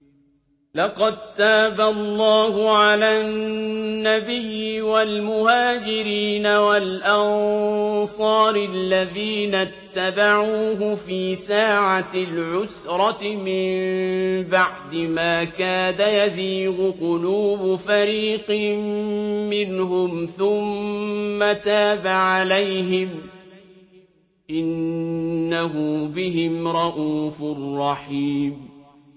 لَّقَد تَّابَ اللَّهُ عَلَى النَّبِيِّ وَالْمُهَاجِرِينَ وَالْأَنصَارِ الَّذِينَ اتَّبَعُوهُ فِي سَاعَةِ الْعُسْرَةِ مِن بَعْدِ مَا كَادَ يَزِيغُ قُلُوبُ فَرِيقٍ مِّنْهُمْ ثُمَّ تَابَ عَلَيْهِمْ ۚ إِنَّهُ بِهِمْ رَءُوفٌ رَّحِيمٌ